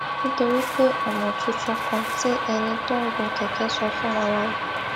nítorí pé ònà tuntun kan tí ẹni tó ń gun kèké sọ fún wa la gbà